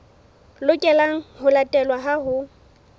lokelang ho latelwa ha ho